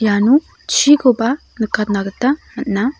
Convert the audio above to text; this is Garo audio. iano chikoba nikatna gita man·a.